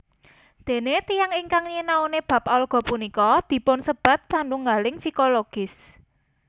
Dene tiyang ingkang nyinaoni bab alga punika dipunsebat satunggaling fikologis